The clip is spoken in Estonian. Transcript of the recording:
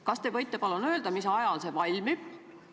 Kas te võite palun öelda, mis ajal need valmivad?